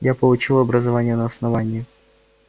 я получил образование на основании